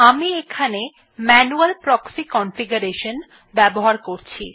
আমি এখানে manual proxy configuration ব্যবহার করছি